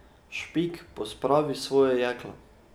Špik, pospravi svoje jeklo.